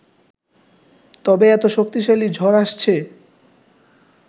তবে এত শক্তিশালী ঝড় আসছে